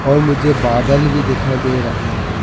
और मुझे बादल भी दिखाई दे रहा है।